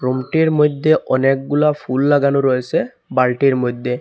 রুমটির মইধ্যে অনেকগুলো ফুল লাগানো রয়েসে বালটির মইধ্যে।